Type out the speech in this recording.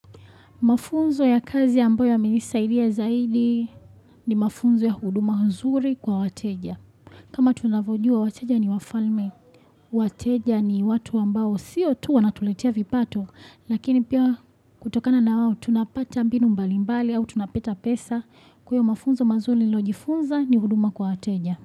Mafunzo ya kazi ambayo ya milisa ilia zaidi ni mafunzo ya huduma mzuri kwa wateja. Kama tunavyojua wateja ni wafalme. Wateja ni watu ambao siyo tu wanatuletia vipato lakini pia kutokana na wawo tunapata binu mbalimbali au tunapeta pesa kuyo mafunzo mazuri nojifunza ni huduma kwa wateja.